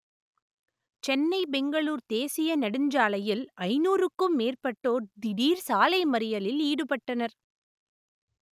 சென்னை பெங்களூர் தேசிய நெடுஞ்சாலையில் ஐனூறுக்கும் மேற்பட்டோர் திடீர் சாலை மறியலில் ஈடுபட்டனர்